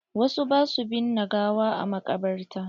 Wasu ba sua binne gawa a maƙabarta.